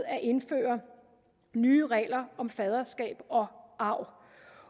at indføre nye regler om faderskab og arv